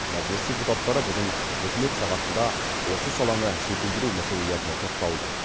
мәжіліс депутаттары бүгін үкімет сағатында осы саланы жетілдіру мәселелеріне тоқталды